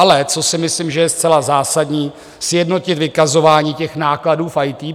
Ale co si myslím, že je zcela zásadní, sjednotit vykazování těch nákladů v IT.